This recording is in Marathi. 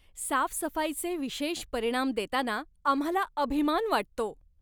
साफसफाईचे विशेष परिणाम देताना आम्हाला अभिमान वाटतो.